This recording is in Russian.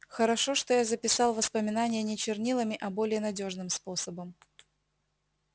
хорошо что я записал воспоминания не чернилами а более надёжным способом